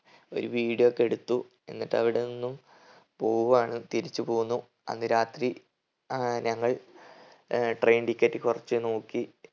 ഒരു video ഒക്കെ എടുത്തു. എന്നിട്ട് അവിടെ നിന്നും പോവുവാണ് തിരിച്ച് പോന്നു അന്ന് രാത്രി ആഹ് ഞങ്ങൾ ഏർ train ticket കുറച്ച് നോക്കി